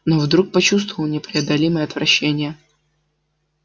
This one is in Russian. но вдруг почувствовал непреодолимое отвращение